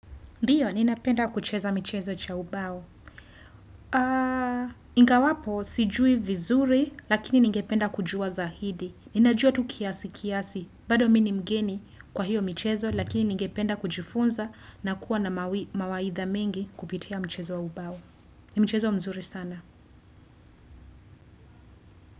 Ndiyo, ninapenda kucheza michezo cha ubao. INgawapo, sijui vizuri, lakini ningependa kujua zaidi. Ninajua tu kiasi kiasi, bado mi ni mgeni kwa hiyo michezo, lakini ningependa kujifunza na kuwa na mawaidha mengi kupitia mchezo wa ubao. Ni mchezo mzuri sana.